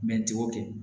n t'o kɛ